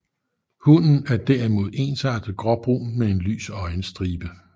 Hunnen er derimod ensartet gråbrun med en lys øjenstribe